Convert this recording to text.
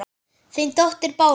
Þín dóttir Bára.